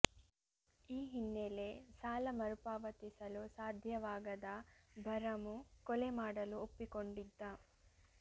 ಈ ಹಿನ್ನೆಲೆ ಸಾಲ ಮರುಪಾವತಿಸಲು ಸಾಧ್ಯವಾಗದ ಭರಮು ಕೊಲೆ ಮಾಡಲು ಒಪ್ಪಿಕೊಂಡಿದ್ದ